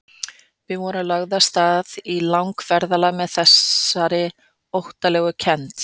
Við vorum lögð af stað í langferð með þessari óttalegu kennd.